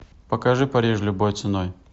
покажи париж любой ценой